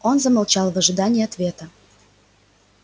он замолчал в ожидании ответа